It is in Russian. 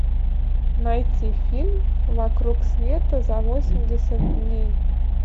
найти фильм вокруг света за восемьдесят дней